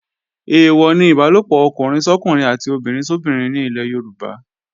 Èèwọ̀ ni Ìbálòpọ̀ ọkùnrin sọ́kùnrin àti obìnrin sóbinrin ní ilẹ̀ Yorùbá